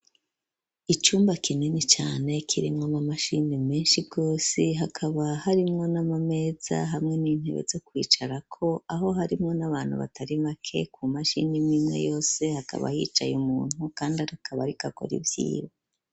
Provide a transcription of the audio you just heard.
Icumba kinini cane kirimwo ama mashini meshi gose hakaba harimwo n'amameza hamwe n'intebe zo kwicarako aho harimwo n'abantu batari make ku mashini imwimwe yose hakaba hicaye umuntu kandi akaba ariko akora ivyiwe.